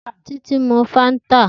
Titi n mú fàntá